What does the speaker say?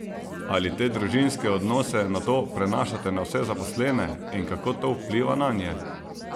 Ali te družinske odnose nato prenašate na vse zaposlene in kako to vpliva nanje?